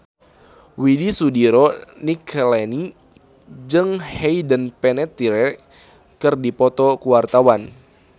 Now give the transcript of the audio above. Widy Soediro Nichlany jeung Hayden Panettiere keur dipoto ku wartawan